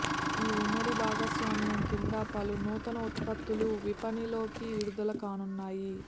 ఈ ఉమ్మడి భాగస్వామ్యం క్రింద పలు నూతన ఉత్పత్తులు విపణిలోకి విడుదల కానున్నాయి